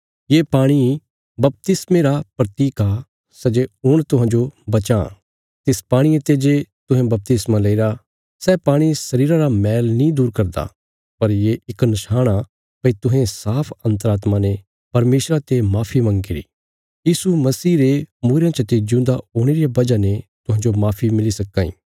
ये पाणी बपतिस्मे रा प्रतीक आ सै जे हुण तुहांजो बचां तिस पाणिये ते जे तुहें बपतिस्मा लेईरा सै पाणी शरीरा रा मैल नीं दूर करदा पर ये इक निशाण आ भई तुहें साफ अन्तरात्मा ने परमेशरा ते माफी मंगीरी यीशु मसीह रे मूईरयां चते जिऊंदा हुणे रिया वजह ने तुहांजो माफी मिली सक्कां इ